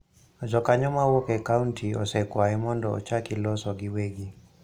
Jokanyo ma wuok e kaonti osekwaye mondo ochaki loso giwegi,